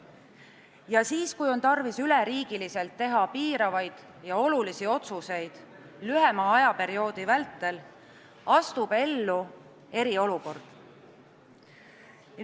Ja siis, kui on tarvis üleriigiliselt langetada piiravaid ja olulisi otsuseid lühema ajaperioodi vältel, astub ellu eriolukord.